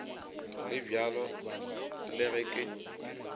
le bjalo le ge ke